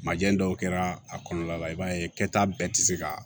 Majɛ dɔw kɛra a kɔnɔna la i b'a ye kɛta bɛɛ ti se ka